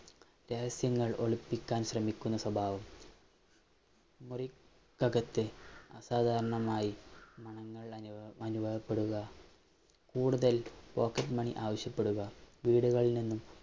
രഹസ്യങ്ങള്‍ ഒളിപ്പിക്കാന്‍ ശ്രമിക്കുന്ന സ്വഭാവം, മുറി~ക്കകത്തെ അസാധാരണമായി മണങ്ങള്‍ അനുഭവപ്പെടുക, കൂടുതല്‍ pocket money ആവശ്യപ്പെടുക,